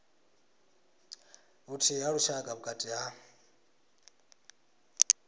vhuthihi ha lushaka vhukati ha